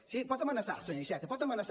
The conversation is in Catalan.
sí pot amenaçar senyor iceta pot amenaçar